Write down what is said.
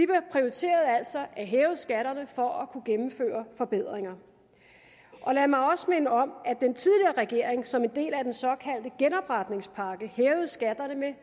prioriteret at hæve skatterne for at kunne gennemføre forbedringer lad mig også minde om at regering som en del af den såkaldte genopretningspakke hævede skatterne med